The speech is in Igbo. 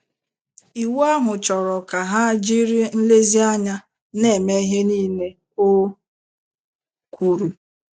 Iwu ahụ chọrọ ka ha jiri nlezianya na - eme ihe niile o kwuru.